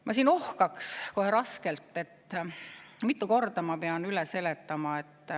Ma ohkaks kohe raskelt, sest kui mitu korda ma pean seda üle seletama.